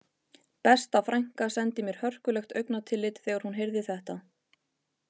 Besta frænka sendi mér hörkulegt augnatillit þegar hún heyrði þetta